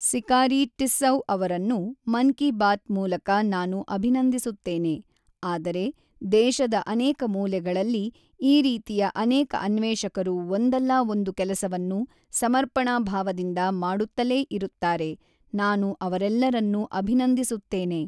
ಸಿಕಾರಿ ಟಿಸ್ಸೌಅವರನ್ನು ಮನ್ ಕಿ ಬಾತ್ ಮೂಲಕ ನಾನು ಅಭಿನಂದಿಸುತ್ತೇನೆ, ಆದರೆ ದೇಶದ ಅನೇಕ ಮೂಲೆಗಳಲ್ಲಿ, ಈ ರೀತಿಯ ಅನೇಕ ಅನ್ವೇಷಕರು ಒಂದಲ್ಲ ಒಂದು ಕೆಲಸವನ್ನು ಸಮರ್ಪಣಾ ಭಾವದಿಂದ ಮಾಡುತ್ತಲೇ ಇರುತ್ತಾರೆ, ನಾನು ಅವರೆಲ್ಲರನ್ನೂ ಅಭಿನಂದಿಸುತ್ತೇನೆ.